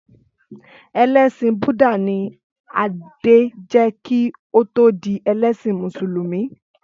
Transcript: Ẹlẹsin Búdà ni Adé jẹ́ kí ó tó di ẹlẹ́sìn Mùsùlùmí.